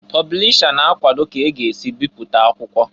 Pọblisha na-akwọdọ ka a ga-esi bipụta akwụkwọ.